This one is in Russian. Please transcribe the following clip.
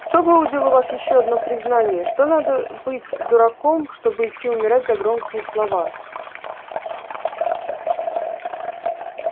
кто выудил у вас ещё одно признание что надо быть дураком чтобы идти умирать за громкие слова